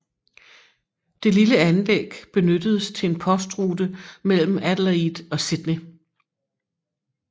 Det lille anlæg benyttedes til en postrute mellem Adelaide og Sydney